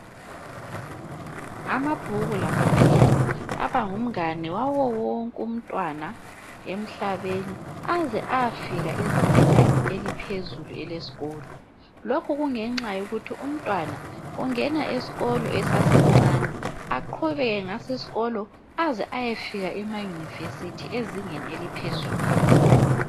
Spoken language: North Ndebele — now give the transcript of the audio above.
Amabhuku lamapheni abangumngane wawowonke umntwana emhlabeni aze ayafika ezingeni eliphezulu elesikolo. Lokhu kungenxa yokuthi umntwana ungena esikolo esasemncane aqhubeke ngaso isikolo aze ayofika emayunivesithi ezingeni eliphezulu.